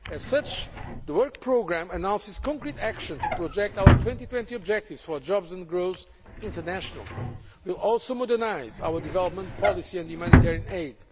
As such, the work programme announces concrete action to project our 2020 objectives for jobs and growths internationally. We will also modernise our development policy and humanitarian